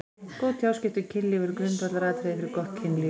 Góð tjáskipti um kynlíf eru grundvallaratriði fyrir gott kynlíf.